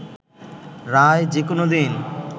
রায় যে কোনো দিন